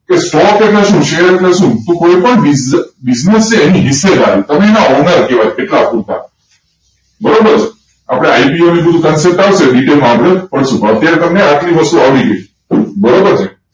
Stock એટલે શું? Share એટલે શું કોઈપણ business એના વિશે હોય તમે એના owner કહેવાય બરોબર આપડે IPO ને બધું detail માં ઓછું ફાવશે અત્યારે તમને આટલી વસ્તુ આવડી ગઈ બરોબર ને